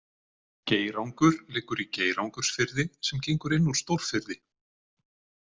Geirangur liggur í Geirangursfirði sem gengur inn úr Stórfirði.